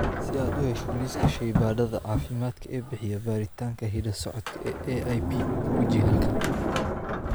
Si aad u hesho liiska shaybaadhada caafimaad ee bixiya baaritaanka hidda-socodka ee AIP, guji halkan.